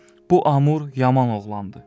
bu Amur yaman oğlandı.